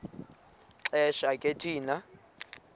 xesha ke thina